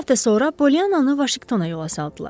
Bir həftə sonra Poliannanı Vaşinqtona yola saldılar.